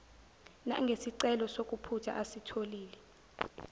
nangesicelo sokuphutha asitholile